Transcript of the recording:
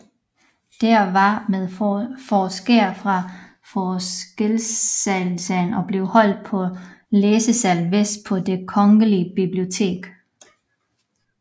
De var med forskere fra Forskerlæsesalen og blev holdt på Læsesal Vest på Det Kongelige Bibliotek